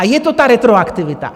A je to ta retroaktivita.